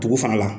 Tugu fana la